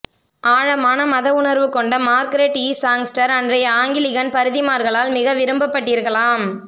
ஆழமான மத உணர்வுகொண்ட மார்கரெட் இ சாங்ஸ்டர் அன்றைய ஆங்கிலிகன் பாதிரிமார்களால் மிக விரும்பப் பட்டிருக்கலாம்